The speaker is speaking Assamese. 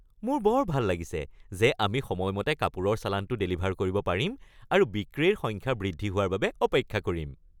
মোৰ বৰ ভাল লাগিছে যে আমি সময়মতে কাপোৰৰ চালানটো ডেলিভাৰ কৰিব পাৰিম আৰু বিক্ৰীৰ সংখ্যা বৃদ্ধি হোৱাৰ বাবে অপেক্ষা কৰিম।